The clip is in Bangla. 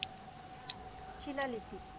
শিলালিপি